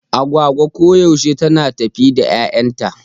Agwagwa koyaushe tana tafe da 'yayanta.